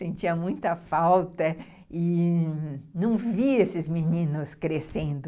Sentia muita falta e não via esses meninos crescendo.